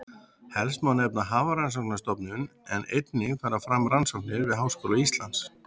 Helst má nefna Hafrannsóknastofnun en einnig fara fram rannsóknir við Háskóla Íslands.